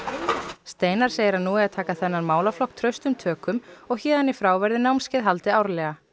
steinar segir að nú eigi að taka þennan málaflokk traustum tökum og héðan í frá verði námskeið haldið árlega